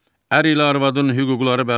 Ər ilə arvadın hüquqları bərabərdir.